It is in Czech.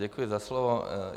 Děkuji za slovo.